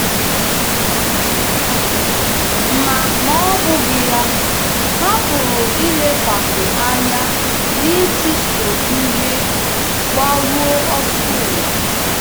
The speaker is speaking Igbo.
Ma Ma ọ bụghị ya, ha pụrụ ilekwasị anya n’ịchụso ihe mgbaru ọsọ ụwa.